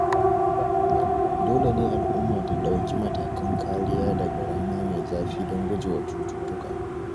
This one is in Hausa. Dole ne al'umma ta ɗauki matakan kariya daga rana mai zafi don gujewa cututtuka.